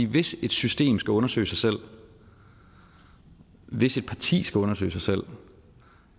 hvis et system skal undersøge sig selv hvis et parti skal undersøge sig selv